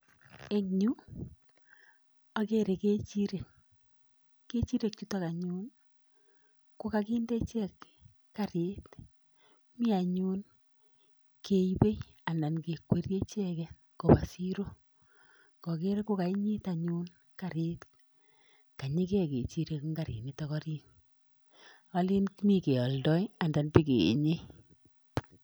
En yu agere kechirek. Kechirek chuto anyun ko kakinde icheke karit mi anyon keibei anan ke kwerie icheke kobende siro ngaker ko kainyit anyun karit kanyigei kechirek eng karinitok orit, olen mi keoldoi anan bo keenye.